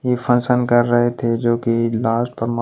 यह फंक्शन कर रहे थे जो कि लास्ट --